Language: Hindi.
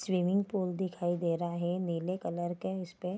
स्विमिंग पुल दिखाई दे रहा है नीले कलर के है इसपे --